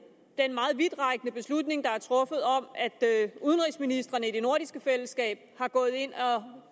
meget vidtrækkende beslutning der er truffet om at udenrigsministrene i det nordiske fællesskab er gået ind